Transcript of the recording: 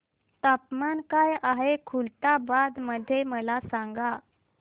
तापमान काय आहे खुलताबाद मध्ये मला सांगा